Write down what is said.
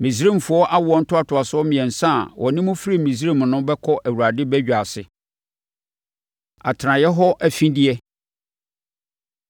Misraimfoɔ awoɔ ntoatoasoɔ mmiɛnsa a wɔne mo firii Misraim no bɛkɔ Awurade badwa ase. Atenaeɛ Hɔ Afideɛ